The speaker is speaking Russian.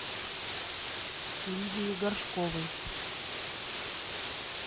лидии горшковой